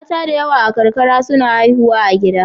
Mata da yawa a karkara suna haihuwa a gida.